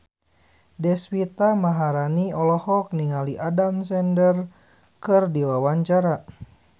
Deswita Maharani olohok ningali Adam Sandler keur diwawancara